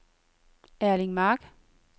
Erling Mark